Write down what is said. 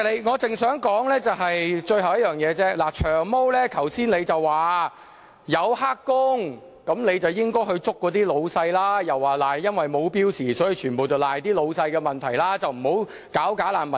我想指出最後一點，"長毛"剛才說如有"黑工"便應拘捕僱主，又說這是因為沒有標準工時，問題都在僱主身上，不應打擊"假難民"。